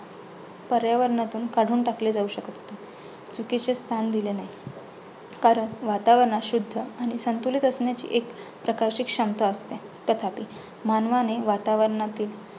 पर्यावरणातून काढून टाकले जाऊ शकत होते. चुकीचे स्थान दिल्याने कारण वातावरण शुद्ध आणि संतुलित असल्याची एक प्रकाशित क्षमता असते. तथापि मानवाने वातावरणातील